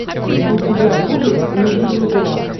у тебя будет не вижу зла